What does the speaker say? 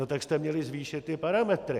No tak jste měli zvýšit ty parametry.